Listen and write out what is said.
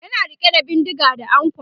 yana rike da bindinga da ankwa